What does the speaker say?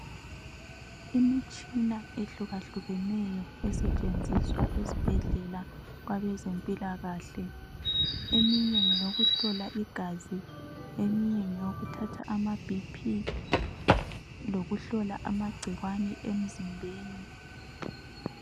Imitshina ehlukahlukeneyo esetshenziswa esibhedlela kwabezempilakahle. Eminye ngeyokuhlola igazi, eminye ngeyokuthatha amaBP lokuhlola amagcikwane emzimbeni.